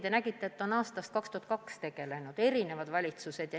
Samas on teada, et juba aastast 2002 on teemaga tegelenud erinevad valitsused.